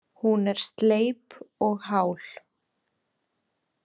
Hún er sleip og hál.